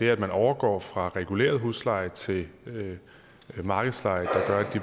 er at man overgår fra reguleret husleje til markedsleje